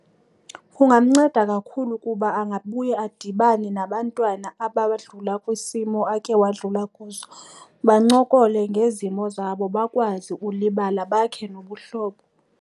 Kungamnceda kakhulu kuba angabuya adibane nabantwana abadlula kwisimo akhe wadlula kuso. Bancokole ngezimo zabo bakwazi ulibala bakhe nobuhlobo.